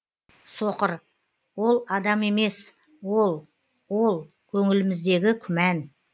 соқыр ол адам емес ол ол көңіліміздегі күмән